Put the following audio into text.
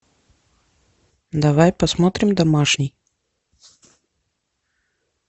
давай посмотрим домашний